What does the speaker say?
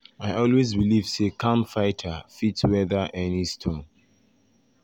i always believe say calm fighter fit weather any storm.